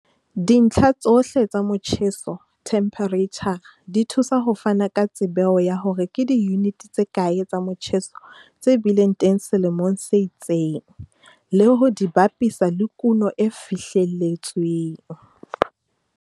Dintlha tsohle tsa motjheso, themphereitjhara, di thusa ho fana ka tsebeo ya hore ke diyunite tse kae tsa motjheso tse bileng teng selemong se itseng, le ho di bapisa le kuno e fihlelletsweng.